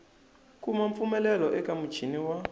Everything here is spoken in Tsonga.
kuma mpfumelelo eka muchini wa